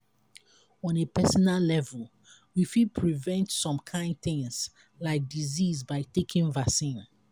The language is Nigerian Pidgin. on a personal level we fit prevent some kimd things like disease by taking vaccine